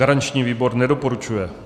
Garanční výbor nedoporučuje.